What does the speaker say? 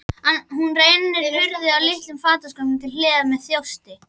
Hún rennir hurð á litlum fataskáp til hliðar með þjósti.